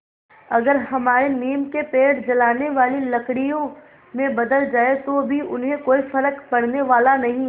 अगर हमारे नीम के पेड़ जलाने वाली लकड़ियों में बदल जाएँ तो भी उन्हें कोई फ़र्क पड़ने वाला नहीं